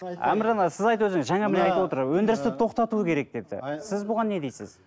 өндірісті тоқтату керек депті сіз бұған не дейсіз